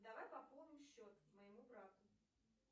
давай пополним счет моему брату